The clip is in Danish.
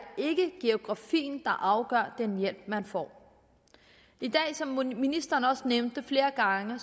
geografien der afgør hvilken hjælp man får som ministeren også nævnte flere gange er